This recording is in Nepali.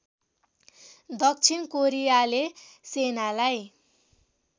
दक्षिण कोरियाले सेनालाई